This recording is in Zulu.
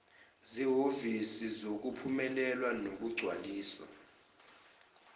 zehhovisi zokuphumelelisa nokugcwalisa